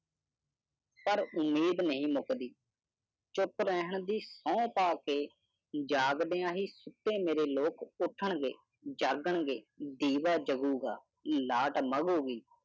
ਉਮੀਦ ਨਹੀਂ ਮੁੱਕਦੀਪੱਪੂ ਨੇ ਮੰਗੀ ਮੁਆਫੀਜਾਂਗਲਿਆਣੀ ਤੇ ਨਿਰਦੋਸ਼ ਸਿੱਖਾਂ ਦੇ ਕਾਤਲਾਂ ਦੇ ਸਾਲਾ ਸਮਾਗਮ